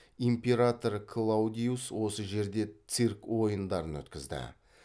император клаудиус осы жерде цирк ойындарын өткізді